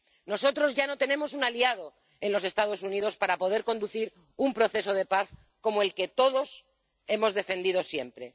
Nosotros ya no tenemos un aliado en los Estados Unidos para poder conducir un proceso de paz como el que todos hemos defendido siempre.